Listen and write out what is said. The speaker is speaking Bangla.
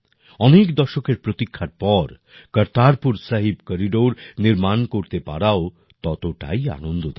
অনেক দশকের প্রতীক্ষার পর কর্তারপুর সাহিব করিডোর নির্মাণ করতে পারাও ততটাই আনন্দদায়ক